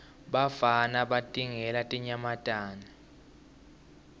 bafana batingela tinyamatane